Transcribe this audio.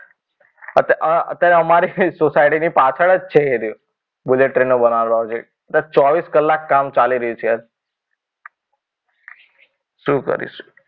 અત્યારે અમારે સોસાયટીની પાછળ જ છે એ બુલેટ ટ્રેન નો ચોવીસ કલાક કામ ચાલી રહ્યું છે. શું કરીશું.